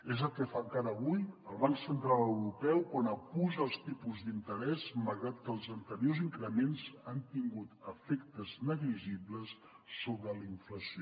és el que fa encara avui el banc central europeu quan apuja els tipus d’interès malgrat que els anteriors increments han tingut efectes negligibles sobre la inflació